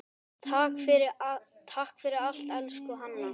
Takk fyrir allt, elsku Hanna.